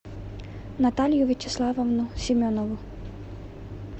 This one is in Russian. наталью вячеславовну семенову